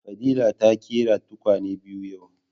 Fadila ta ƙera tukwane biyu yau